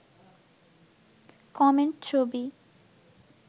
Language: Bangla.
কমেন্ট ছবি